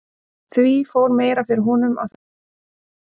Því fór meira fyrir honum á þessum stað en áður.